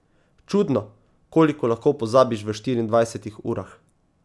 Čudno, koliko lahko pozabiš v štiriindvajsetih urah.